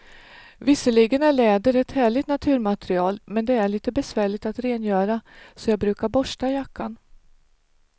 Visserligen är läder ett härligt naturmaterial, men det är lite besvärligt att rengöra, så jag brukar borsta jackan.